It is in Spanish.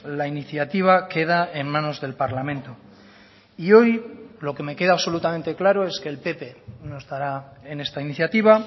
la iniciativa queda en manos del parlamento y hoy lo que me queda absolutamente claro es que el pp no estará en esta iniciativa